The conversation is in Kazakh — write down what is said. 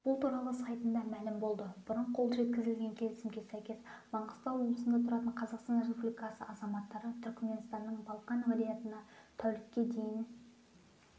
бұл туралы сайтында мәлім болды бұрын қол жеткізілген келісімге сәйкес маңғыстау облысында тұратын қазақстан республикасы азаматтары түркіменстанның балқан уәлаятына тәулікке дейін